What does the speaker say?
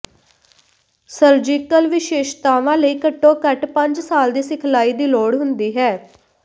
surgical ਵਿਸ਼ੇਸ਼ਤਾਵਾਂ ਲਈ ਘੱਟੋ ਘੱਟ ਪੰਜ ਸਾਲ ਦੀ ਸਿਖਲਾਈ ਦੀ ਲੋੜ ਹੁੰਦੀ ਹੈ